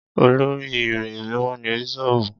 Olórí ìrí mímọ́ ni Bíṣọ̀bù.